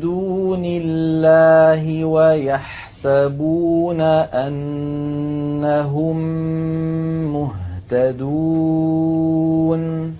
دُونِ اللَّهِ وَيَحْسَبُونَ أَنَّهُم مُّهْتَدُونَ